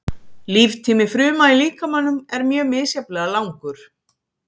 Líftími fruma í líkamanum er mjög misjafnlega langur.